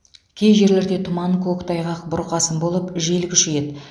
кей жерлерде тұман көктайғақ бұрқасын болып жел күшейеді